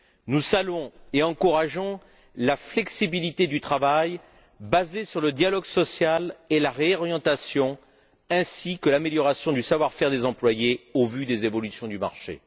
Nous saluons et encourageons la flexibilité du travail basée sur le dialogue social et la réorientation ainsi que l'amélioration du savoir faire des employés au vu des évolutions du marché.